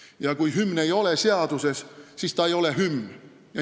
Ja kui hümn ei ole seaduses, siis ta ei ole hümn.